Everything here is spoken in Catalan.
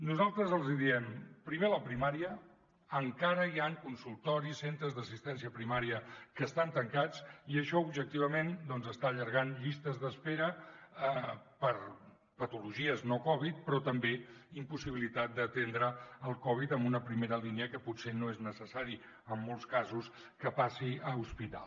nosaltres els diem primer la primària encara hi han consultoris centres d’assistència primària que estan tancats i això objectivament està allargant llistes d’espera per patologies no covid però també impossibilitat d’atendre el covid en una primera línia quan potser no és necessari en molts casos que passi a hospital